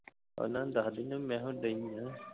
ਪਹਿਲਾਂ ਦੱਸ ਦਿੰਦੀ ਮੈਂ ਹੁਣ